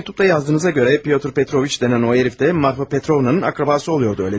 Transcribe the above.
Mənə məktubda yazdığınıza görə Pyotr Petroviç deyilən o hərif də Marfa Petrovnanın qohumu olurdu, elə deyilmi?